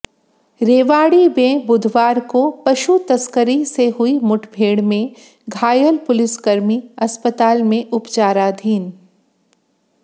रेवाड़ी में बुधवार को पशु तस्करों से हुई मुठभेड़ में घायल पुलिसकर्मी अस्पताल में उपचाराधीन